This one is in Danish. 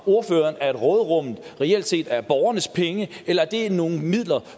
ordføreren at råderummet reelt set er borgernes penge eller at det er nogle midler